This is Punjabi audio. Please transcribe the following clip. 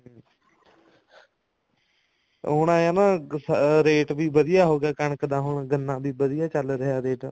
ਹੁਣ ਏਂ ਆ ਨਾ ਰੇਟ ਵੀ ਵਧੀਆ ਹੋਗਿਆ ਹੋਗਿਆ ਕਣਕ ਦਾ ਹੁਣ ਗੰਨਾ ਵੀ ਵਧੀਆ ਚੱਲ ਰਿਹਾ ਰੇਟ